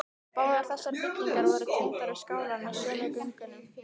Báðar þessar byggingar voru tengdar við skálann með sömu göngunum.